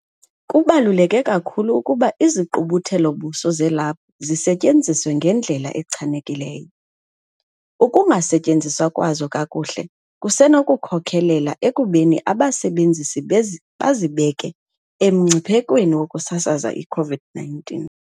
Kubaluleke kakhulu ukuba izigqubuthelo-buso zelaphu zisetyenziswe ngendlela echanekileyo. Ukungasetyenziswa kwazo kakuhle kusenokukhokelela ekubeni abasebenzisi bazibeke emngciphekweni wokusasaza i-COVID-19.